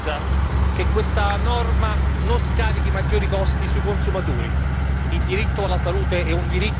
È necessario vogliamo dirlo con chiarezza che questa norma non scarichi maggiori costi sui consumatori.